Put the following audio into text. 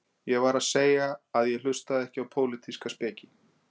Ég var að segja að ég hlustaði ekki á pólitíska speki